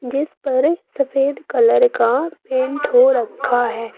जिस पर सफेद कलर का पेंट हो रखा है।